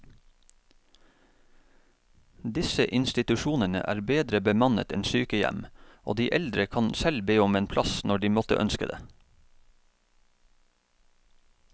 Disse institusjonene er bedre bemannet enn sykehjem, og de eldre kan selv be om en plass når de måtte ønske det.